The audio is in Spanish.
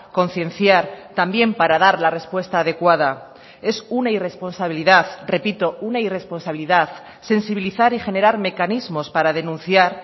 concienciar también para dar la respuesta adecuada es una irresponsabilidad repito una irresponsabilidad sensibilizar y generar mecanismos para denunciar